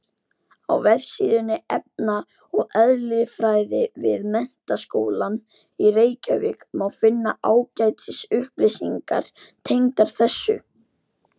Á vefsíðu efna- og eðlisfræði við Menntaskólann í Reykjavík má finna ágætis upplýsingar tengdar þessu.